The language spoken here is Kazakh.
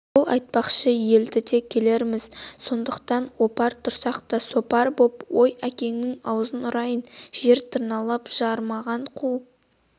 сол айтпақшы елге де келерміз отырсақ опақ тұрсақ сопақ боп ой әкеңнің аузын ұрайын жер тырналап жарымаған қу